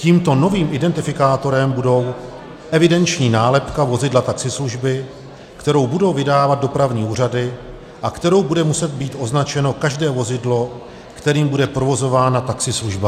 Tímto novým identifikátorem bude evidenční nálepka vozidla taxislužby, kterou budou vydávat dopravní úřady a kterou bude muset být označeno každé vozidlo, kterým bude provozována taxislužba.